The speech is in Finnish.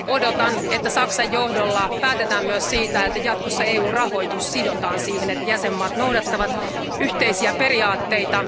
Odotan, että Saksan johdolla päätetään myös siitä, että jatkossa EU rahoitus sidotaan siihen, että jäsenvaltiot noudattavat yhteisiä periaatteita.